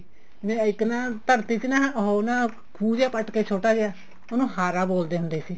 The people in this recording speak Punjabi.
ਇੱਕ ਨਾ ਧਰਤੀ ਚ ਉਹ ਨਾ ਖੁ ਜਾ ਪੱਟ ਕੇ ਛੋਟਾ ਜਿਹਾ ਉਹਨੂੰ ਹਾਰਾ ਬੋਲਦੇ ਹੁੰਦੇ ਸੀ